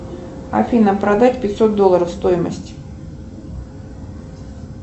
афина продать пятьсот долларов стоимость